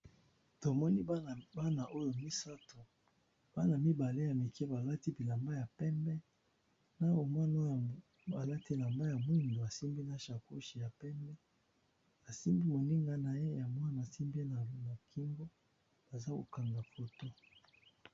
Tomoni Bana misatu Bana mibale ya Mike balati bilamba ya pembe na Mwana oyo mosusu alati elamba ya moyindo asimbi pe sacoche ya pembe asimbi moniga naye ya mwa na kingo bazo KO kanga photo.